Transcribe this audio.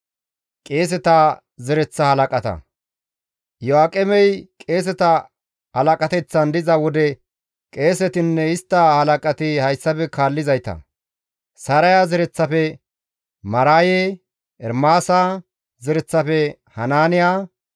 Iyo7aaqemey qeeseta halaqateththan diza wode qeesetinne istta halaqati hayssafe kaallizayta; Saraya zereththafe Maraaye, Ermaasa zereththafe Hanaaniya,